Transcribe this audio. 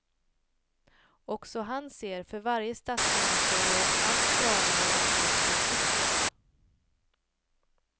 Också han ser för varje statsministerår allt stramare och mer betryckt ut.